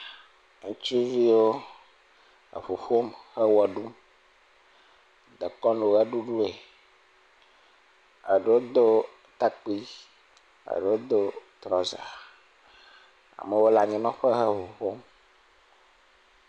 Ŋutsuviwo eƒo ƒum ewɔ ɖum dekɔnu ʋeɖuɖue. Eɖewo do takpi, eɖewo do trɔza. Amewo le anyinɔtƒe he ŋu ƒom.